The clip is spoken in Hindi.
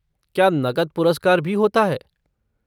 क्या नक़द पुरस्कार भी होता है?